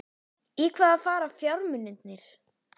Í hvaða fara fjármunirnir?